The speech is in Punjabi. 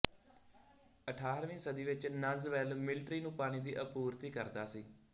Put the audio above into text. ਅਠਾਰਹਵੀ ਸ਼ਤਾਬਦੀ ਵਿੱਚ ਨੰਜ਼ ਵੈੱਲ ਮਿਲਿਟਰੀ ਨੂੰ ਪਾਣੀ ਦੀ ਆਪੂਰਤੀ ਕਰਦਾ ਸੀ